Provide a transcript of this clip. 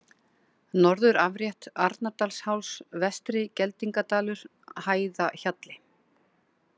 Norðurafrétt, Arnardalsháls, Vestri-Geldingadalur, Hæðahjalli